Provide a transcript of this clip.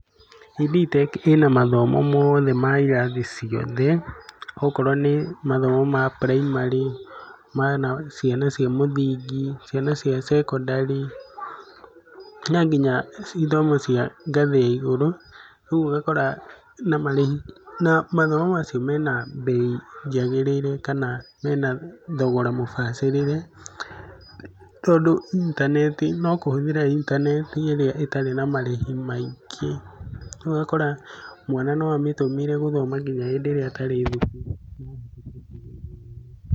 Ed Tech ĩna mathomo mothe mairathi ciothe okorwo nĩ mathomo ma primary, ma ciana cia mũthingi, ciana cia secondary na nginya ithomo cia ngathĩ ya igũrũ. Rĩu ũgakora na marĩhi na mathomo macio mena mbei yagĩrĩire kana mena thogora mũbacĩrĩre tondũ intaneti, nokũhũthĩra intaneti ĩrĩa ĩtarĩ na marĩhi maingĩ. Rĩu ũgakora mwana no amĩtũmĩre gũthoma nginya hĩndĩ ĩrĩa atarĩ thukuru.